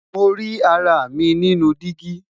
Mo ri ara mi ninu digi.